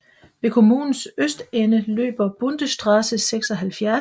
Ved kommunens østende løber Bundesstraße 76